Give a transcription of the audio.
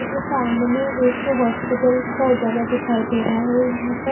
ये सामने एक हॉस्पिटल का जगह दिखाई दे रहा है यहां पर--